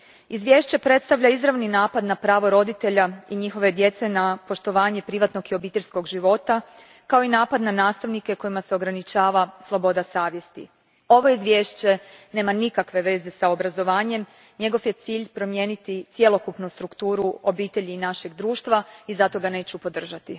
Izvješće predstavlja izravni napad na pravo roditelja i njihove djece na poštovanje privatnog i obiteljskog života, kao i napad na nastavnike kojima se ograničava sloboda savjesti. Ovo izvješće nema nikakve veze s obrazovanjem, njegov je cilj promijeniti cjelokupnu strukturu obitelji našeg društva i zato ga neću podržati.